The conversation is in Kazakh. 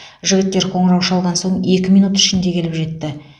жігіттер қоңырау шалған соң екі минут ішінде келіп жетті